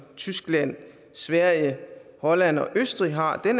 tyskland sverige holland og østrig har er